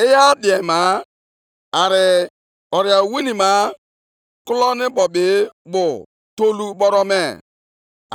Ọ bụ ùbe ya ka i ji mawaa ya isi, mgbe ndị dike nʼagha ya bịara dịka oke ifufe ịchụsa